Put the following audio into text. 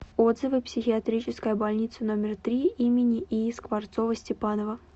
отзывы психиатрическая больница номер три им ии скворцова степанова